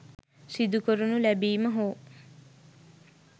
සිදු කරනු ලැබීම හෝ